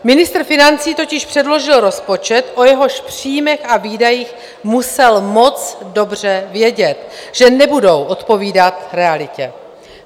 Ministr financí totiž předložil rozpočet, o jehož příjmech a výdajích musel moc dobře vědět, že nebudou odpovídat realitě.